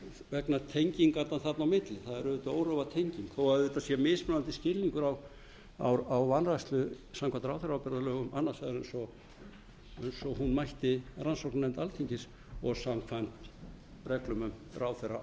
vegna tengingarinnar þarna á milli það er auðvitað órofa tenging þó að auðvitað sé mismunandi skilningur á vanrækslu samkvæmt ráðherraábyrgðarlögum annars vegar eins og hún mætti rannsóknarnefnd alþingis og samkvæmt reglum um ráðherraábyrgð